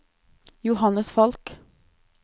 Johannes Falch